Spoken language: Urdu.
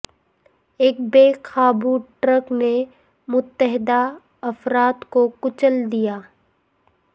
ایک بے قابو ٹرک نے متعدد افراد کو کچل دیا